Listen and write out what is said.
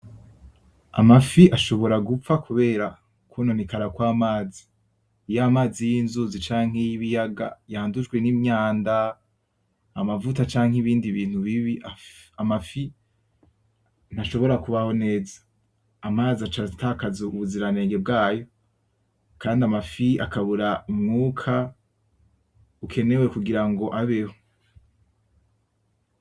Amafi ashobora gupfa kubera ukwononekara kw'amazi, iyo amazi y'inzuzi canke y'ibiyaga yandujwe n'imyanda , amavuta canke ibindi bintu bibi amafi ntashobora kubaho neza , amazi acatakaza ubuziranenge bwayo kandi amafi akabura umwuka ukenewe kugira ngo abeho .